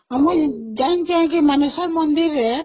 ଆମ ଯାଇକି ମାନେଶ୍ଵର ମନ୍ଦିର ରେ